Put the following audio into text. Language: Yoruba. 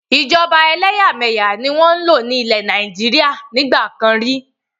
Ìjọba ẹlẹ́yà-mẹ̀yà ni wọn ń lò ní ilẹ́ Nàìjíríà nígbàkan rí.